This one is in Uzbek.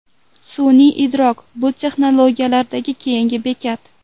Sun’iy idrok bu texnologiyalardagi keyingi bekat.